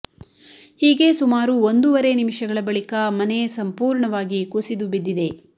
ಹೀಗೆ ಸುಮಾರು ಒಂದೂವರೆ ನಿಮಿಷಗಳ ಬಳಿಕ ಮನೆ ಸಂಪೂರ್ಣವಾಗಿ ಕುಸಿದು ಬಿದ್ದಿದೆ